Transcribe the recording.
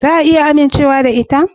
Za a iya amincewa da ita?